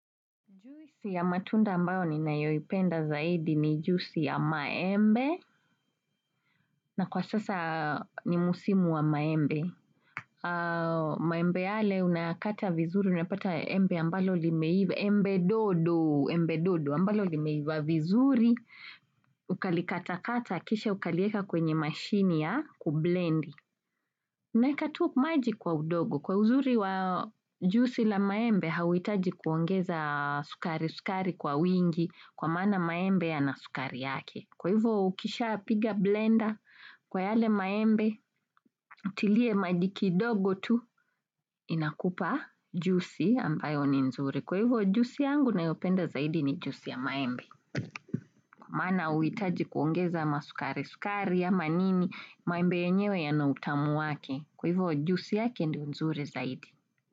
Juicy ya matunda ambayo ninayoipenda zaidi ni juisi ya maembe, na kwa sasa ni musimu wa maembe. Maembe yale unayakata vizuri, unapata embe ambalo limeiva, embe dodo, embe dodo, ambalo limeiva vizuri. Ukalikatakata, kisha ukalieka kwenye mashini ya, kublendi. Naekatu maji kwa udogo kwa uzuri wa jusi la maembe hauitaji kuongeza sukari-sukari kwa wingi kwa maana maembe yana sukari yake. Kwa hivyo ukisha piga blender kwa yale maembe, tiliye maji kidogo tu inakupa jusi ambayo ni nzuri. Kwa hivyo jusi yangu nayopenda zaidi ni jusi ya maembe. Maana hauitaji kuongeza masukari, sukari amanini, maembe yenyewe yana utamu wake Kwa hivyo jusi yake ndio nzuri zaidi.